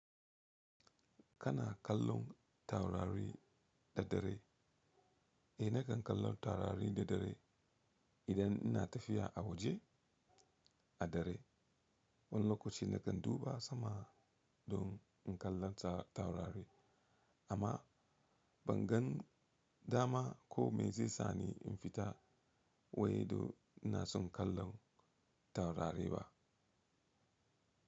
Kana kallon taurari da dare? Eh nakan kallon taurari da dare idan ina tafiya a waje a dare. Wani lokaci nakan duba sama don in kalla taurari amma ban gan dama ko me zai sani in fita way don inason kallon taurari ba.